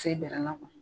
Se bɛrɛ la kuwa